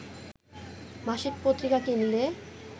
মাসিক পত্রিকা কিনলে